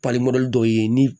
dɔw ye ni